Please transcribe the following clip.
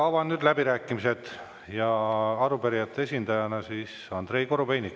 Avan nüüd läbirääkimised ja arupärijate esindajana Andrei Korobeiniku.